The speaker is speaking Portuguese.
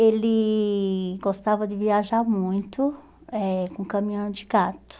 Ele gostava de viajar muito eh com caminhão de gato.